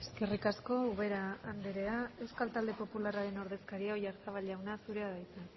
eskerrik asko ubera andrea euskal talde popularraren ordezkaria oyarzabal jauna zurea da hitza